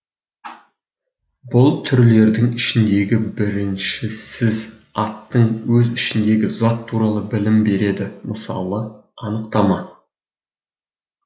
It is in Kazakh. бұл түрлердің ішіндегі біріншісізаттың өз ішіндегі зат туралы білім береді мысалы анықтама